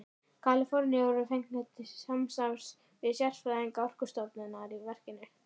Kaliforníu voru fengnir til samstarfs við sérfræðinga Orkustofnunar í verkinu.